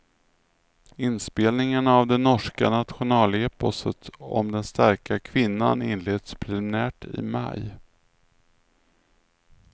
Inspelningarna av det norska nationaleposet om den starka kvinnan inleds preliminärt i maj.